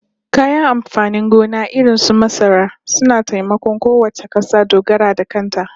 Kayan amfanin gona irin su masara suna taimakon kowace kasa dogaro da kanta